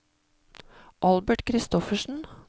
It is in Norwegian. Albert Kristoffersen